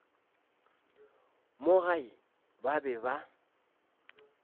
mo gae ba be ba